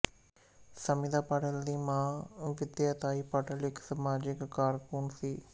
ਸਮਿਤਾ ਪਾਟਿਲ ਦੀ ਮਾਂ ਵਿਦਿਆ ਤਾਈ ਪਾਟਿਲ ਇੱਕ ਸਮਾਜਿਕ ਕਾਰਕੁਨ ਸੀ